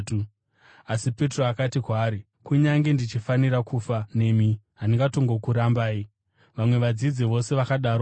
Asi Petro akati kwaari, “Kunyange ndichifanira kufa nemi, handingatongokurambai.” Vamwe vadzidzi vose vakadarowo.